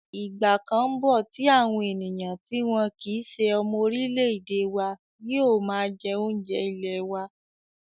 Ìgbà kan ńbọ̀ tí àwọn ènìyàn tí wọn kìí se ọmọ orílẹ̀-èdè wa yóò máa jẹ́ oúnjẹ ilẹ̀ wa